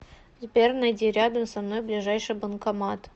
сбер найди рядом со мной ближайший банкомат